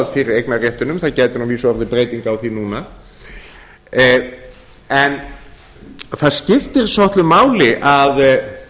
fyrir eignarréttinum það gæti að vísu orðið breyting á því núna en það skiptir svolitlu máli að